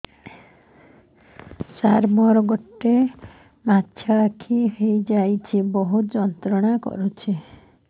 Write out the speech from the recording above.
ସାର ମୋର ଗୋଡ ଟା ମଛକି ଯାଇଛି ବହୁତ ଯନ୍ତ୍ରଣା କରୁଛି